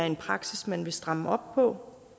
en praksis man vil stramme op på